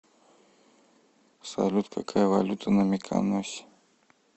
салют какая валюта на миконосе